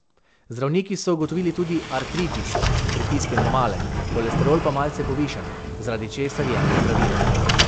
Zdravniki so ugotovili tudi artritis, pritisk je normalen, holesterol pa malce povišan, zaradi česar jemlje zdravila.